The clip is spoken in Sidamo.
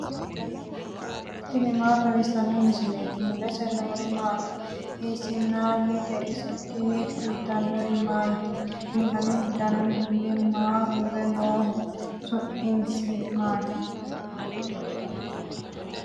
tini maa xawissanno misileeti ? mulese noori maati ? hiissinannite ise ? tini kultannori mattiya? Kunni danu danunkunni mayi uure nooho? Su'misi ayiti?